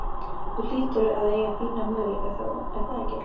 Þú hlýtur að eiga fína möguleika þá er það ekki?